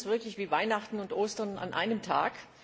Das ist für uns wirklich wie Weihnachten und Ostern an einem Tag.